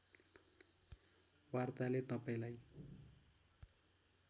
वार्ताले तपाईँलाई